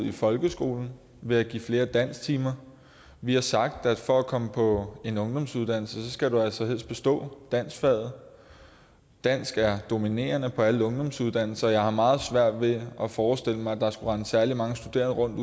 i folkeskolen ved at give flere dansktimer vi har sagt at for at komme på en ungdomsuddannelse skal man altså helst have bestået danskfaget dansk er dominerende på alle ungdomsuddannelser så jeg har meget svært ved at forestille mig at der skulle rende særlig mange studerende rundt